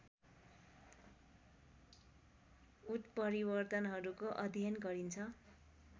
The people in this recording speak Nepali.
उत्परिवर्तनहरूको अध्ययन गरिन्छ